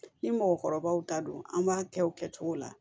Ni mɔgɔkɔrɔbaw ta don an b'a kɛ o kɛcogo la